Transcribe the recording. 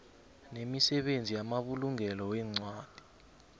nemisebenzi yamabulungelo weencwadi